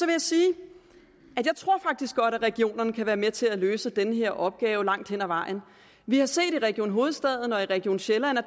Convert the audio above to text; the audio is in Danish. jeg sige at at regionerne kan være med til at løse den her opgave langt hen ad vejen vi har set i region hovedstaden og i region sjælland at